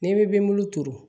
N'i bɛ bin bulu turu